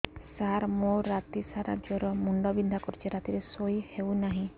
ସାର ମୋର ରାତି ସାରା ଜ୍ଵର ମୁଣ୍ଡ ବିନ୍ଧା କରୁଛି ରାତିରେ ଶୋଇ ହେଉ ନାହିଁ